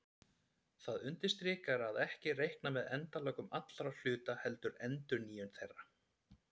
Það undirstrikar að ekki er reiknað með endalokum allra hluta heldur endurnýjun þeirra.